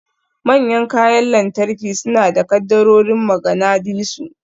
Manyan kayan lantarki suna da kaddarorin maganadisu.